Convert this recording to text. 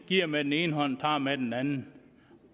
giver med den ene hånd og tager med den anden